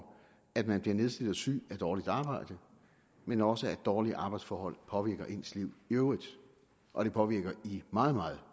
at man bliver nedslidt og syg af dårligt arbejde men også at dårlige arbejdsforhold påvirker ens liv i øvrigt og det påvirker i meget meget